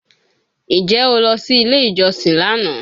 Ǹjẹ́ o lọ sí ilé ìjọsìn lánàá